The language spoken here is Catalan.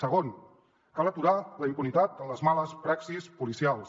segon cal aturar la impunitat en les males praxis policials